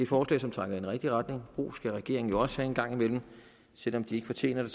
forslag som trækker i den rigtige retning ros skal regeringen jo også have en gang imellem selv om den ikke fortjener det